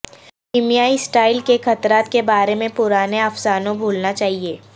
کیمیائی اسٹائل کے خطرات کے بارے میں پرانے افسانوں بھولنا چاہئے